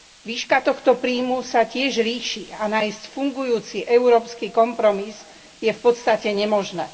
Výška tohto príjmu sa tiež líši a nájsť fungujúci európsky kompromis je v podstate nemožné.